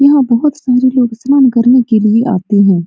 यहां बहुत सारे लोग स्नान करने के लिए आते हैं।